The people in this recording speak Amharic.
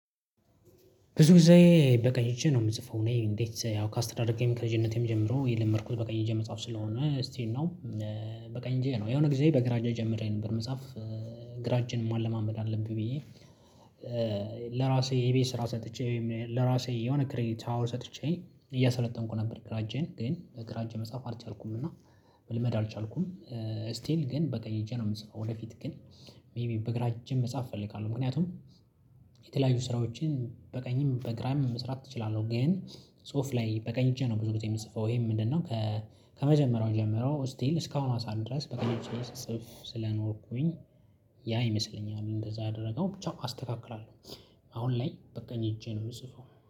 ብዙ ጊዜ በቀኝ እጄ ነው የምጽፈው እኔ እንዴት ያው ካስተዳደጌ ከልጅነቴም ጀምሮ የለመድኩት በቀኝ እጄ መጽሐፍ ስለሆነ ስቲል ናው። በቀኝ እንጄ ነው የሆነ ጊዜ በግራ እጅ ጀምሬ ነበር መጽሐፍ ግራአጄን ማለማመድ አለብኝ ብዬ ለራሴ የቤት ስራ ሰጥቼ ወይም ለራሴ የሆነ ክሬዲት ሀወር ሰጥቼ እያሰለጠንኩ ነበር። ግራእጄን ግን በግራጄ መጻፍ አልቻልኩም እና መልመድ አልቻልኩም። ስቲል ግን በቀኝ እጄ የምጽፈው ወደፊት ግን ሜይቢ በግራ እጄም መጻፍ እፈልጋለሁ። ምክንያቱም የተለያዩ ስራዎችን በቀኝም በግራም መስራት እችላለሁ። ግን ጽሁፍ ላይ በቀኝ እጄ ነው ብዙ ጊዜ የምጽፈው ይሄ ምንድነው? ከመጀመሪያው ጀምረው ስቲል እስካሁን ስዓት ድረስ በቀኝ እጄ ስጽፍ ስለኖርኩኝ። ያ ይመስለኛል እንደዛ ያደረገው ቻው አስተካክላለሁ። አሁን ላይ በቅኝ እጄ ነው የምጽፈው